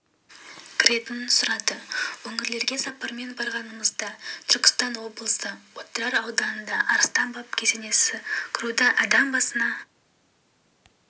кіретінін сұрады өңірлерге сапармен барғанымызда түркістан облысы отырар ауданында арыстан баб кесенесіне кіруді адам басына